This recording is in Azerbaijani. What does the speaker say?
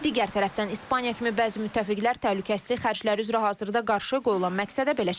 Digər tərəfdən İspaniya kimi bəzi müttəfiqlər təhlükəsizlik xərcləri üzrə hazırda qarşı qoyulan məqsədə belə çatmayıb.